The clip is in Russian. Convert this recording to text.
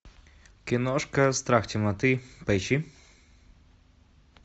киношка страх темноты поищи